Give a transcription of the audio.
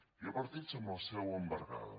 hi ha partits amb la seu embargada